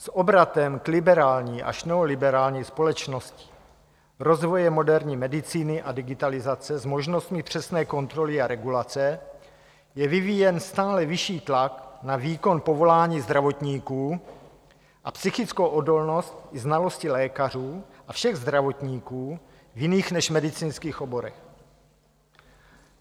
S obratem k liberální až neoliberální společnosti, rozvojem moderní medicíny a digitalizace s možnostmi přesné kontroly a regulace je vyvíjen stále vyšší tlak na výkon povolání zdravotníků a psychickou odolnost i znalosti lékařů a všech zdravotníků v jiných než medicínských oborech.